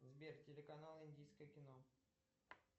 сбер телеканал индийское кино